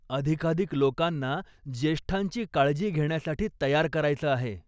अधिकाधिक लोकांना ज्येष्ठांची काळजी घेण्यासाठी तयार करायचं आहे.